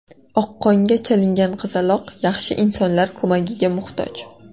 Oqqonga chalingan qizaloq yaxshi insonlar ko‘magiga muhtoj.